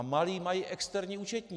A malí mají externí účetní!